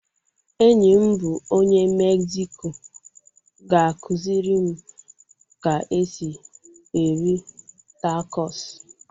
Enyi m bụ onye Mexico ga-akụziri m ka esi eri tacos